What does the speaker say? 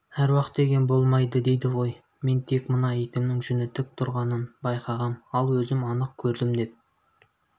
аруақ деген болмайды дейді ғой мен тек мына итімнің жүні тік тұрғанын байқағам ал өзім анық көрдім деп